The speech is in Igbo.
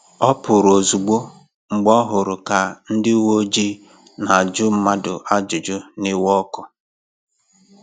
Ọ pụrụ̀ ozugbò mgbe ọ hụrụ ka ndị ụ̀wẹ̀ọjịị na-ajụ mmadụ ajụjụ n'iwe ọkụ